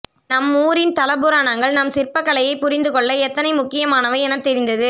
நம்மூரின் தலபுராணங்கள் நம் சிற்பக்கலையை புரிந்துகொள்ள எத்தனை முக்கியமானவை என தெரிந்தது